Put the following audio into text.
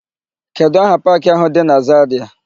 Kedụ aha paakị áhụ̀ dị na Zarịa?